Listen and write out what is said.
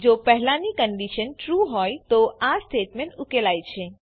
જો પહેલાની condition true હોય તો આ સ્ટેટમેંટ ઉકેલાય છે